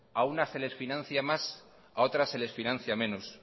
a unas se las financia más a otras se les financia menos